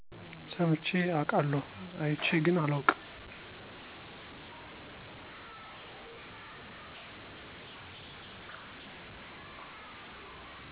ሰምቼ አቃለሁ አየቼ ግን አላውቅም።